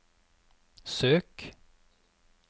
søk